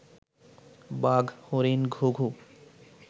বাঘ, হরিণ, ঘুঘু